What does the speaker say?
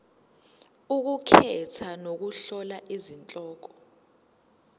ukukhetha nokuhlola izihloko